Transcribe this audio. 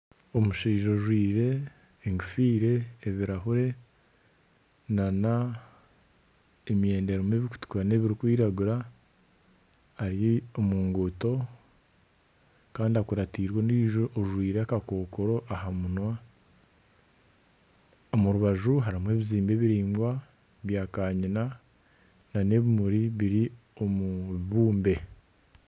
Omushaija ojwire egofiire ebirahuure nana emyenda erimu ebikutukura n'ebirikwiragura ari omu nguuto kandi akuratirwe ondijo ojwire akakokoro aha munwa omurubaju harimu ebizimbe biraingwa bya kanyina na n'ebimuri biri omu bibumbe.